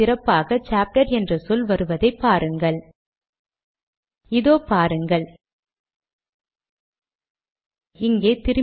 இப்போது we are என்று துவங்கும் வாக்கியம் இங்கே உள்ளது